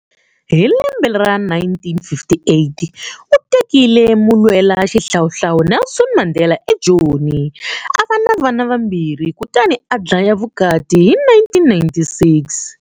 Hi lembe ra 1958, u tekile mulwelaxihlawuhlawu Nelson Mandela eJoni, a va na vana vambirhi kutani a dlaya vukati hi 1996.